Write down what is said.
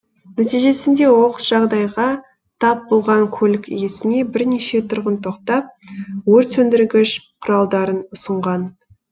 нәтижесінде оқыс жағдайға тап болған көлік иесіне бірнеше тұрғын тоқтап өртсөндіргіш құралдарын ұсынған